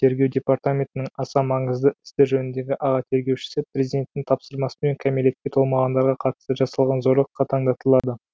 тергеу департаментінің аса маңызды істер жөніндегі аға тергеушісі президенттің тапсырмасымен кәмелетке толмағандарға қатысты жасалған зорлық қатаңдатылады